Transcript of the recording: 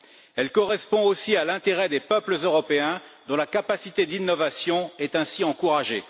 Elle correspond aussi à l'intérêt des peuples européens, dont la capacité d'innovation est ainsi encouragée.